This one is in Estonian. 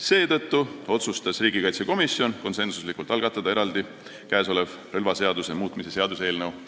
Seetõttu otsustas riigikaitsekomisjon konsensusega algatada eraldi relvaseaduse muutmise seaduse eelnõu.